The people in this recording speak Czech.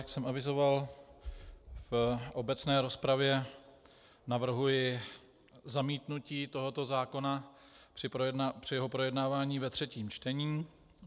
Jak jsem avizoval v obecné rozpravě, navrhuji zamítnutí tohoto zákona při jeho projednávání ve třetím čtení.